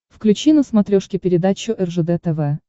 включи на смотрешке передачу ржд тв